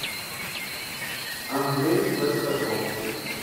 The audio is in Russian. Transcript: андрей шестаков